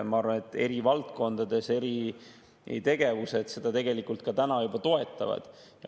Ma arvan, et eri valdkondades eri tegevused seda tegelikult ka täna juba toetavad.